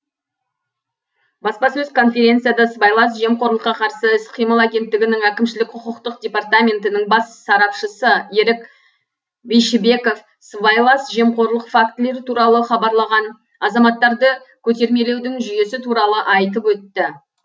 баспасөз конференцияда сыбайлас жемқорлыққа қарсы іс қимыл агенттігінің әкімшілік құқықтық департаментінің бас сарапшысы ерік бишібеков сыбайлас жемқорлық фактілері туралы хабарлаған азаматтарды көтермелеудің жүйесі туралы айтып өтті